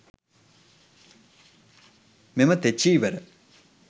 මෙම තෙචීවර